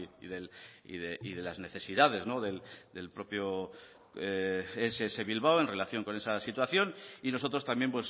y de las necesidades del propio ess bilbao en relación con esa situación y nosotros también